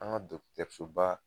An ga Dɔkɔtɔrɔsoba